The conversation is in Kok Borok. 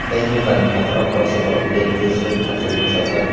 tei nukani phataro khorok sa borok beg tui suit thorsaui buchajak.